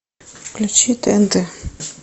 включи тнт